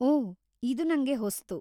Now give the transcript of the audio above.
ಓಹ್‌, ಇದು ನಂಗೆ ಹೊಸತು.